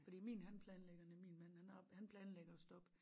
Fordi min han planlægger min mand han planlægger at stoppe